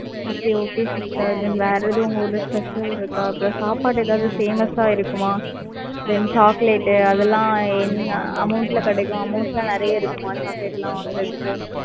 Okay okay sister then வேற எதுவும் உங்க ஊர்ல special இருக்கா? அப்புறம் சாப்பாடு ஏதாவது famous ஆ இருக்குமா? then chocolate அதெல்லாம் என்ன amount ல கிடைக்கும். Amount லாம் நிறைய இருக்குமா, chocolate எல்லாம் வாங்குறதுக்கு